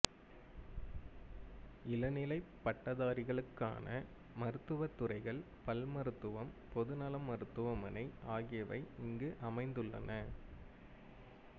இளநிலைப் பட்டதாரிகளுக்கான மருத்துவத் துறைகள் பல்மருத்துவம் பொதுநலம் மருத்துவமனை ஆகியவை இங்கு அமைந்துள்ளன